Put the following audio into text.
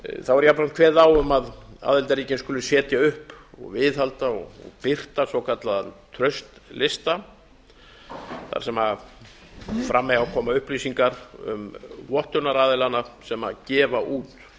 þá er jafnframt kveðið á um að aðildarríkin skuli setja upp og viðhalda og birta svokallaða traustlista þar sem fram eiga að koma upplýsingar um vottunaraðilana sem gefa út